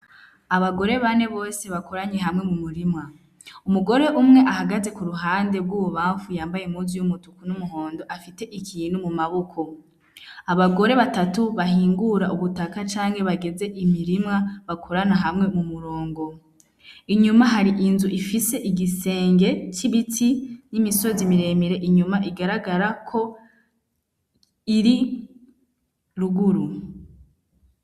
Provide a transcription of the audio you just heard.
Abagore bane bose bakoranye hamwe m'umurima, umugore umwe ahagaze kuruhande rw'ububamfu yambaye impuzu y'umutuku n'umuhondo afite ikintu mumaboko. Abagore batatu bahingura ubutaka canke bageze imirima, bakorana hamwe mumurongo, inyuma hari inzu ifise igisenge c'ibiti n'imisozi miremire inyuma igaragara ko iri ruguru.